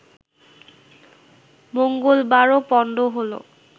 মঙ্গলবারও পণ্ড হলো